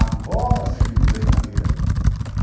Agora sim eu mudei em Jandira.